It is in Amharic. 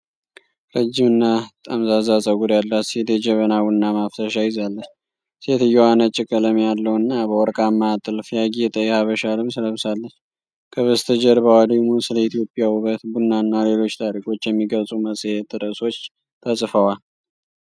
ረጅም እና ጠምዛዛ ፀጉር ያላት ሴት የጀበና ቡና ማፍሰሻ ይዛለች። ሴትየዋ ነጭ ቀለም ያለው እና በወርቃማ ጥልፍ ያጌጠ የሐበሻ ልብስ ለብሳለች። ከበስተጀርባዋ ደግሞ ስለ ኢትዮጵያ ውበት፣ ቡናና ሌሎች ታሪኮች የሚገልጹ የመጽሔት ርዕሶች ተጽፈዋል።